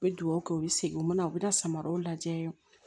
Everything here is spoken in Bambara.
U bɛ duwawu kɛ u bɛ segin u mana u bɛ da samaraw lajɛ